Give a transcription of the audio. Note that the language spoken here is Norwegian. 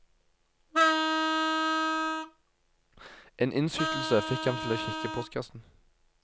En innskytelse fikk ham til å kikke i postkassen.